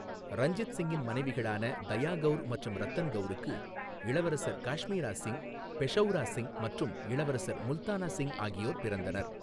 ரஞ்சித் சிங்கின் மனைவிகளான தயா கவுர் மற்றும் ரத்தன் கவுருக்கு இளவரசர் காஷ்மீரா சிங், பெஷௌரா சிங் மற்றும் இளவரசர் முல்தானா சிங் ஆகியோர் பிறந்தனர்.